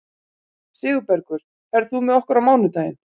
Sigurbergur, ferð þú með okkur á mánudaginn?